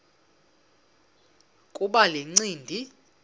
kuba le ncindi